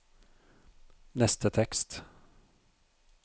neste tekst